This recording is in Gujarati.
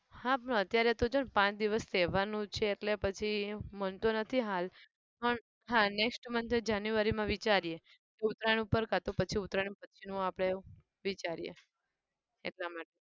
હા પણ અત્યારે તો જો પાંચ દિવસ તહેવારનું છે એટલે પછી મન નથી હાલ પણ હા next month એ january માં વિચારીએ કે ઉતરાણ ઉપર કાંતો પછી ઉતરાણ પછીનું આપણે વિચારીયે એ પ્રમાણે